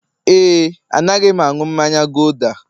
ee, Anaghị m aṅụ mmanya gulder